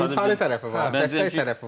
İnsani tərəfi var, dəstək tərəfi var.